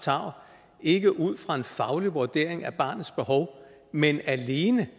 tarv ikke ud fra en faglig vurdering af barnets behov men alene